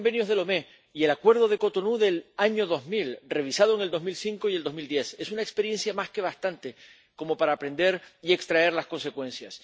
Cuatro convenios de Lomé y el Acuerdo de Cotonú del año 2000, revisado en 2005 y 2010, son una experiencia más que suficiente como para aprender y extraer las consecuencias.